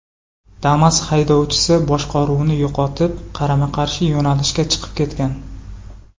Damas haydovchisi boshqaruvni yo‘qotib, qarama-qarshi yo‘nalishga chiqib ketgan.